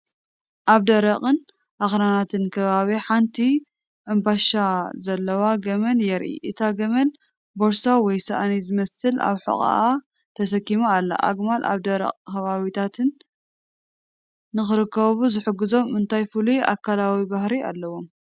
ኣብ ደረቕን ኣኽራናትን ከባቢ ሓንቲ ሑምባሻ ዘለዋ ገመል የርኢ። እታ ገመል ቦርሳ ወይ ሳእኒ ዝመስል ኣብ ሕቖኣ ተሰኪማ ኣላ። ኣግማል ኣብ ደረቕ ከባቢታት ንኽነብሩ ዝሕግዞም እንታይ ፍሉይ ኣካላዊ ባህሪ ኣለዎም?.